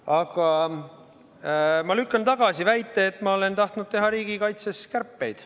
Aga ma lükkan tagasi väite, et olen tahtnud teha riigikaitses kärpeid.